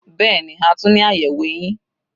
Bẹ́ẹ̀ni, a tún ní àyẹ̀wò eyín.